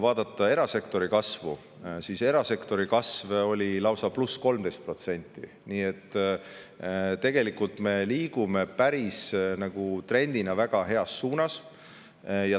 Erasektori kasv oli lausa pluss 13%, nii et tegelikult me liigume trendina väga heas suunas.